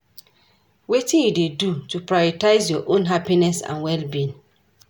Wetin you dey do to prioritize your own happiness and well-being?